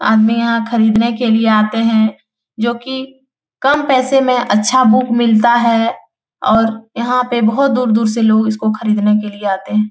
आदमी यहाँ खरीदने के लिए आते हैं जो कि कम पैसे में अच्छा बुक मिलता है और यहाँ पे बहोत दूर-दूर से लोग इसको खरीदने के लिए आते हैं।